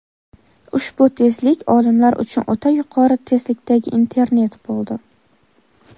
Ushbu tezlik olimlar uchun o‘ta yuqori tezlikdagi internet bo‘ldi.